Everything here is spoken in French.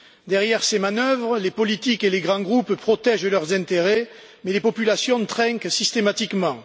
Derrière ces manœuvres, les politiques et les grands groupes protègent leurs intérêts, mais les populations trinquent systématiquement.